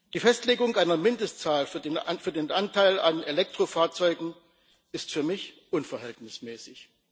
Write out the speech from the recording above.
Die Festlegung einer Mindestzahl für den Anteil an Elektrofahrzeugen ist für mich unverhältnismäßig.